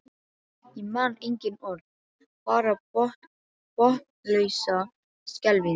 Ég man engin orð, bara botnlausa skelfingu.